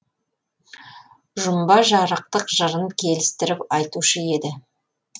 жұмба жарықтық жырын келістіріп айтушы еді